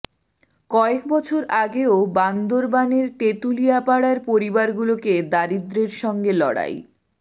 কয়েক বছর আগেও বান্দরবানের তেঁতুলিয়াপাড়ার পরিবারগুলোকে দারিদ্র্যের সঙ্গে লড়াই